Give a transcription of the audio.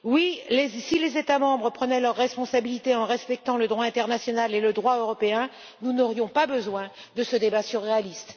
Oui, si les États membres prenaient leurs responsabilités en respectant le droit international et le droit européen, nous n'aurions pas besoin de ce débat surréaliste.